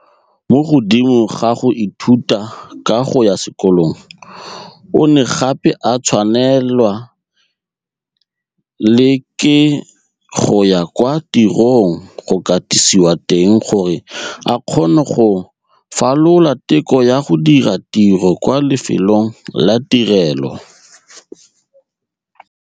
Mo godimo ga go ithuta ka go ya sekolong, o ne gape a tshwanelwa le ke go ya kwa tirong go katisiwa teng gore a kgone go falola teko ya go dira tiro kwa lefelong la tirelo.